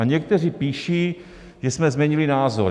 A někteří píší, že jsme změnili názor.